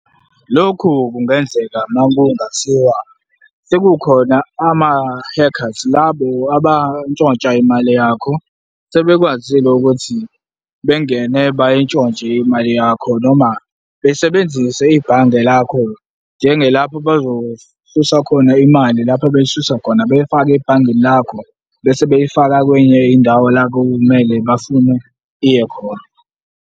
Lokhu kungenzeka makungathiwa sekukhona ama-hackers, labo abantshontsha imali yakho, sebekwazile ukuthi bengene bayintshontshe imali yakho noma besebenzise ibhange lakho lapho bazosusa khona imali lapho beyisusa khona, beyifake ebhangini lakho bese beyifaka kwenye indawo la kumele bafuna iye khona.